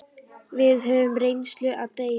Við höfðum reynslu að deila.